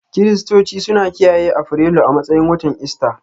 Kiristoci suna kiyaye Afrilu a matsayin watan Ista.